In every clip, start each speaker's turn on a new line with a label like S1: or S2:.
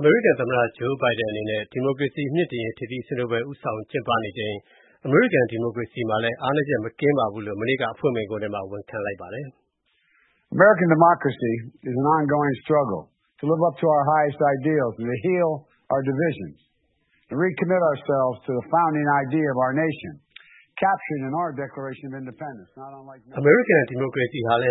S1: အမေရိကန်သမ္မတ Joe Biden အနေနဲ့ ဒီမိုကရေစီမြှင့်တင်ရေး ထိပ်သီးစည်းဝေးပွဲ ဦးဆောင်ကျင်းပနေချိန် အမေရိကန်ဒီမိုကရေစီမှာလည်း အားနည်းချက်မကင်းပါဘူးလို့ ကြာသပတေးနေ့အဖွင့်မိန့်ခွန်းထဲမှာ ဝန်ခံပြောဆိုခဲ့ပါတယ်။
S2: “အမေရိကန် ဒီမိုကရေစီဟာလည်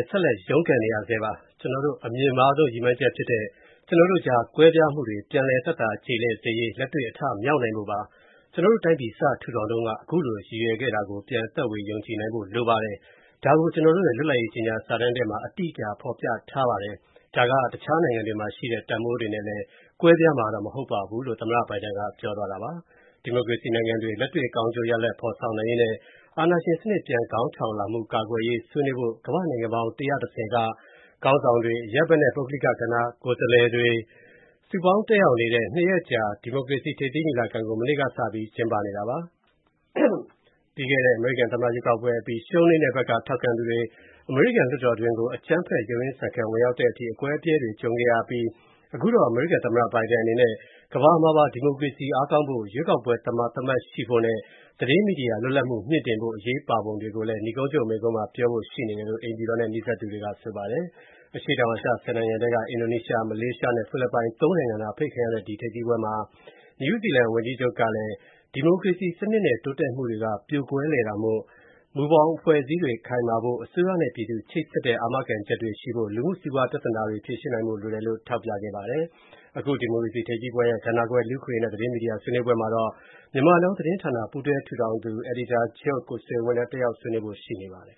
S1: း ဆက်လက် ရုန်းကန်နေရဆဲပါ။ကျနော်တို့ရဲ့ အမြင့်မားဆုံးရည်မှန်းချက်ဖြစ်တဲ့ ကျနော်တို့ကြား ကွဲပြားမှုတွေကို ပြန်သက်သာကျေလည်စေရေး လက်တွေ့အထမြောက်နိုင်ဖို့ပါ။ ကျနော်တို့တိုင်းပြည် စထူထောင်တုန်းက အခုလို ရည်ရွယ်ခဲ့တာကို ပြန် သက်ဝင်ယုံကြည်နိုင်ဖို့လိုပါတယ်။ ဒါကို ကျနော်တို့ရဲ့ လွတ်လပ်ရေးကြေညာစာတမ်းထဲမှာ အတိအကျဖော်ပြထားပါတယ်။ ဒါက တခြားနိုင်ငံတွေမှာရှိခဲ့တဲ့ တန်ဖိုးတွေနဲ့ ကွဲပြားမှာတော့ မဟုတ်ပါဘူး” လို့ သမ္မတဘိုင်ဒန်ကပြောပါတယ်။ ဒီမိုကရေစီနိုင်ငံတွေ လက်တွေ့ကောင်းကျိုးရလဒ် ဖော်ဆောင်နိုင်ရေးနဲ့ အာဏာရှင်စနစ်ပြန်ခေါင်းထောင်လာမှုကာကွယ်ရေး ဆွေးနွေးဖို့၊ ကမ္ဘာ့နိုင်ငံပေါင်း ၁၁၀ က ခေါင်းဆောင်တွေ၊ အရပ်ဘက်နဲ့ ပုဂ္ဂလိကကဏ္ဍ ကိုယ်စားလှယ်တွေ စုပေါင်းတက်ရောက်နေတဲ့ နှစ်ရက်ကြာ ဒီမိုကရေစီထိပ်သီးညီလာခံကို မနေ့ကစပြီး ကျင်းပနေတာပါ။ ပြီးခဲ့တဲ့ အမေရိကန်သမ္မတရွေးကောက်ပွဲအပြီး ရှုံးနိမ့်တဲ့ဘက်က ထောက်ခံသူတွေ အမေရိကန်လွှတ်တော်တွင်းကို ရုန်းရင်းဆန်ခတ် ဝင်ရောက်တဲ့အထိ အကွဲအပြဲတွေကြုံခဲ့ရအပြီး အခုတော့ သမ္မတ Biden အနေနဲ့ ကမ္ဘာမှာပါ ဒီမိုကရေစီအားကောင်းဖို့၊ ရွေးကောက်ပွဲသမာသမတ်ရှိရေးနဲ့ သတင်းမီဒီယာလွတ်လပ်မှု မြှင့်တင်ဖို့ အရေးပါပုံကိုလည်း နိဂုံးချုပ်မိန့်ခွန်းမှာပြောဖို့ရှိနေတယ်လို့ အိမ်ဖြူတော်နဲ့နီးစပ်သူတွေက ဆိုပါတယ်။ အရှေ့တောင်အာရှ ၁၀ နိုင်ငံထဲက အင်ဒိုနီးရှား၊ မလေးရှားနဲ့ ဖိလစ်ပိုင် သုံးနိုင်ငံသာ အဖိတ်ခံရတဲ့ ဒီထိပ်သီးစည်းဝေးပွဲမှာ နယူးဇီလန်ဝန်ကြီးချုပ် Jacinda Arden ကလည်း ဒီမိုကရေစီစနစ်နဲ့ အောင်မြင်မူတွေက ပြိုကွဲလွယ်တာမို့ မူဘောင်အဖွဲ့ အစည်းတွေခိုင်မာဖို့၊ အစိုးရနဲ့ပြည်သူချိတ်ဆက်တဲ့အာမခံချက်တွေရှိဖို့၊ လူမူစီးပွားပြဿနာတွေဖြေရှင်းနိုင်ဖို့ လိုတယ်လို့ ထောက်ပြခဲ့ပါတယ်။ အခု ဒီမိုကရေစီထိပ်သီးပွဲရဲ့ ကဏ္ဍခွဲ လူ့အခွင့်အရေးနဲ့ သတင်းမီဒီယာ ဆွေးနွေးပွဲမှာတော့ Myanmar Now သတင်းဌာန ပူးတွဲထူထောင်သူနဲ့ အယ်ဒီတာချုပ် ကိုဆွေဝင်းလည်း တက်ရောက်ဆွေးနွေးဖို့ ရှိနေပါတယ်